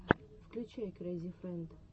включай крэйзи фрэнд